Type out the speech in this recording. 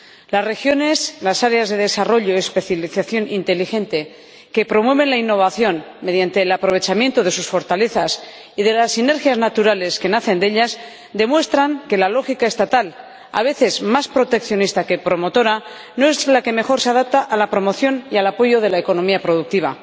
Las regiones, las áreas de desarrollo y especialización inteligente que promueven la innovación mediante el aprovechamiento de sus fortalezas y de las sinergias naturales que nacen de ellas, demuestran que la lógica estatal, a veces más proteccionista que promotora, no es la que mejor se adapta a la promoción y al apoyo de la economía productiva.